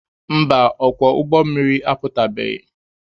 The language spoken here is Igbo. Mba, ọkwọ ụgbọ mmiri apụtabeghị.